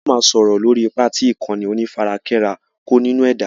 Áà ó máa sọ̀rọ̀ lórí ipá tí ìkànnì onífarakínra ń kó nínú ẹ̀dá.